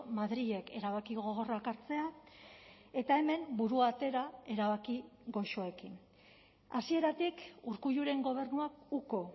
madrilek erabaki gogorrak hartzea eta hemen burua atera erabaki goxoekin hasieratik urkulluren gobernuak uko